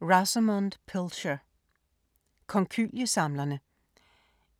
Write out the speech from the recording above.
Pilcher, Rosamunde: Konkylie-samlerne